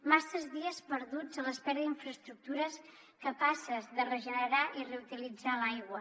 masses dies perduts a l’espera d’infraestructures capaces de regenerar i reutilitzar l’aigua